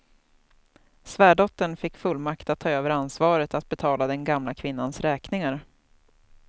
Svärdottern fick fullmakt att ta över ansvaret att betala den gamla kvinnans räkningar.